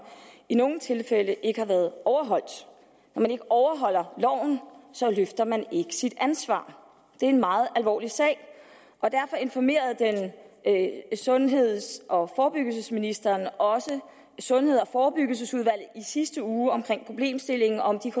i nogle tilfælde ikke har været overholdt når man ikke overholder loven løfter man ikke sit ansvar det er en meget alvorlig sag og derfor informerede sundheds og forebyggelsesministeren også sundheds og forebyggelsesudvalget i sidste uge om problemstillingen og om de